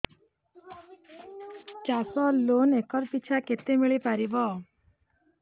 ଚାଷ loan acre ପିଛା କେତେ ମିଳି ପାରିବ